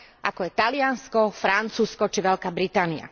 ako je Taliansko, Francúzsko či Veľká Británia.